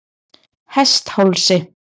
Hesthálsi